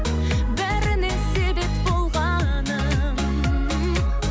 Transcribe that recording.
бәріне себеп болғаным